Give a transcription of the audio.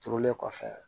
Turulen kɔfɛ